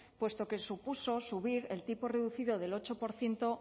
puesto que supuso a subir el tipo reducido del ocho por ciento